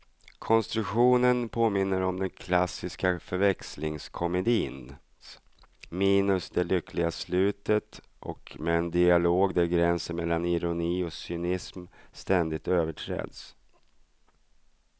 Konstruktionen påminner om den klassiska förväxlingskomedins, minus det lyckliga slutet och med en dialog där gränsen mellan ironi och cynism ständigt överträds.